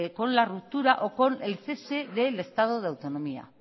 con la ruptura o con el cese del estado de autonomía